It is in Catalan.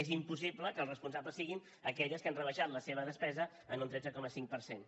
és impossible que els responsables siguin aquelles que han rebaixat la seva despesa en un tretze coma cinc per cent